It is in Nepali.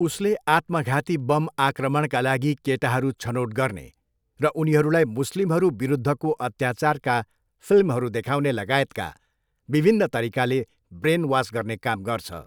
उसले आत्मघाती बम आक्रमणका लागि केटाहरू छनोट गर्ने र उनीहरूलाई मुस्लिमहरू विरुद्धको अत्याचारका फिल्महरू देखाउने लगायतका विभिन्न तरिकाले ब्रेनवास गर्ने काम गर्छ।